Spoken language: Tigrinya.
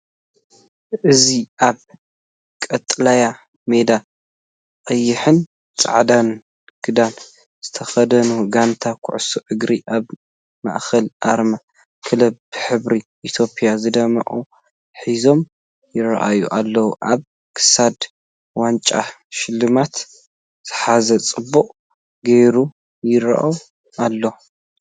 እዚ ኣብ ቀጠልያ ሜዳ ቀይሕን ጻዕዳን ክዳን ዝተኸድነት ጋንታ ኩዕሶ እግሪ፡ ኣብ ማእከል ኣርማ ክለብ ብሕብሪ ኢትዮጵያ ዝደምቕ ሒዞም ይራኣይ ኣለው። ኣብ ክሳድ ዋንጫ ሽልማት ዝሓዘ ጽቡቕ ጌሩ ይረአ ኣሎ።